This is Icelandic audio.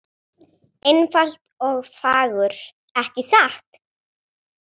Einfalt og fagurt, ekki satt?